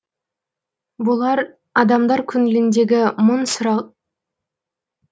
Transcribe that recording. бұлар адамдар көңіліндегі мың сан сұрақ